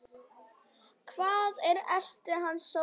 Hvar ætli hann sofi?